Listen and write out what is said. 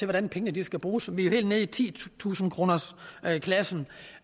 hvordan pengene skal bruges vi er helt nede i titusindekronersklassen